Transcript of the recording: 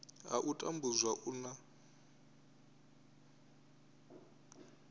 ha u tambudzwa u na